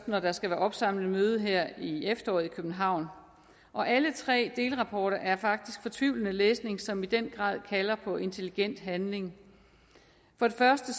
når der skal være opsamlende møde her i efteråret i københavn og alle tre delrapporter er faktisk fortvivlende læsning som i den grad kalder på intelligent handling for det første